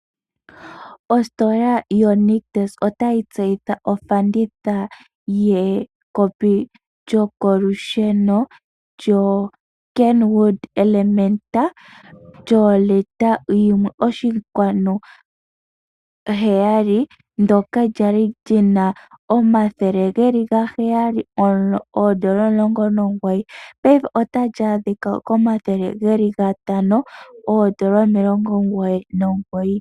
Ositola yonictus otayi tseyitha ofanditha yekopi lyokolusheno lyoKenwood element lyoolita 1.7 ndyoka lyali lyina omathele 719 paife otali adhika koondola 599.